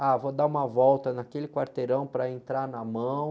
Ah, vou dar uma volta naquele quarteirão para entrar na mão.